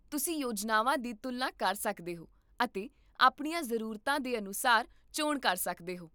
ਤੁਸੀਂ ਯੋਜਨਾਵਾਂ ਦੀ ਤੁਲਨਾ ਕਰ ਸਕਦੇ ਹੋ ਅਤੇ ਆਪਣੀਆਂ ਜ਼ਰੂਰਤਾਂ ਦੇ ਅਨੁਸਾਰ ਚੋਣ ਕਰ ਸਕਦੇ ਹੋ